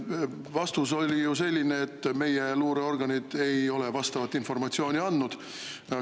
Vastus oli ju selline, et meie luureorganid ei ole vastavat informatsiooni andnud.